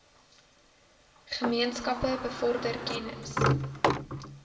gemeenskappe bevorder kennis